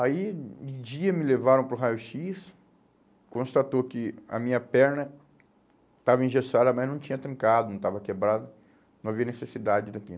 Aí, em dia, me levaram para o raio-xis, constatou que a minha perna estava engessada, mas não tinha trincado, não estava quebrada, não havia necessidade daquilo.